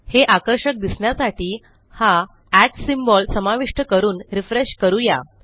हे आकर्षक दिसण्यासाठी हा सिम्बॉल समाविष्ट करून रिफ्रेश करू या